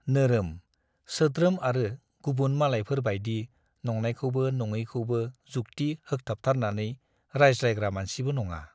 नोरोम, सोद्रेम आरो गुबुन मालायफोर बाइदि नंनायखौबो नङैखौबो जुक्ति होखथाबथारनानै रायज्लायग्रा मानसिबो नङा।